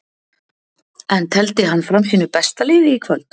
En tefldi hann fram sínu besta liði í kvöld?